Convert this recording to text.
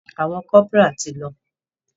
Àwọn corporal ti lọ.